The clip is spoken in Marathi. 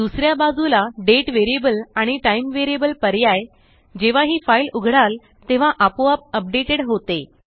दुसऱ्या बाजूला दाते आणि टाइम पर्याय जेव्हा ही फ़ाइल उघडाल तेव्हा आपोआप अपडेटेड होते